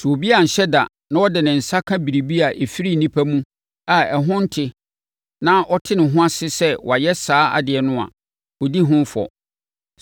Sɛ obi anhyɛ da na ɔde ne nsa ka biribi a ɛfiri onipa mu a ɛho nte na ɔte ne ho ase sɛ wayɛ saa adeɛ no a, ɔdi ho fɔ.